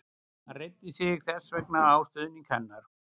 Hann reiddi sig þess vegna á stuðning hennar.